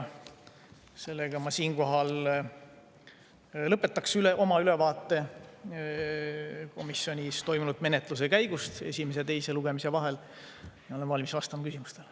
Siinkohal ma lõpetan oma ülevaate komisjonis toimunud menetluse käigust esimese ja teise lugemise vahel ja olen valmis vastama küsimustele.